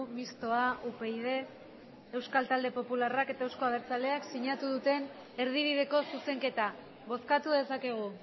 mistoa upyd euskal talde popularrak eta euzko abertzaleak sinatu duten erdibideko zuzenketa bozkatu dezakegu